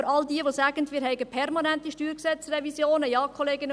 Wer sagt, dass wir permanent StG-Revisionen haben: